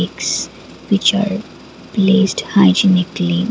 it's which are placed hygienic clean.